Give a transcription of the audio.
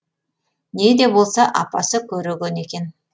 не де болса апасы көреген екен